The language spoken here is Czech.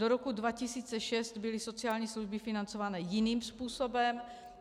Do roku 2006 byly sociální služby financované jiným způsobem.